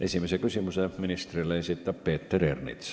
Esimese küsimuse ministrile esitab Peeter Ernits.